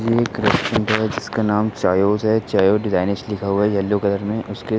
यह एक रेस्टोरेंट है। जिसका नाम चायोस है। चायोस डिजाइनिश लिखा हुआ है येलो कलर में उसके --